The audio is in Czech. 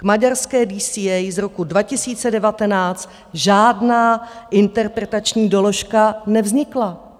K maďarské DCA z roku 2019 žádná interpretační doložka nevznikla.